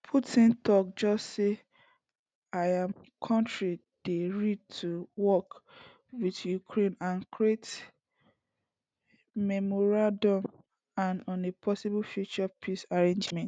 putin just tok say im kontri dey readi to work wit ukraine and create memorandum on a possible future peace agreement